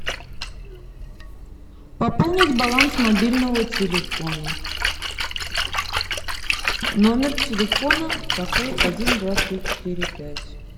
пополнить баланс мобильного телефона номер телефона такой один два три четыре пять